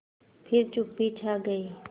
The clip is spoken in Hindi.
फिर चुप्पी छा गई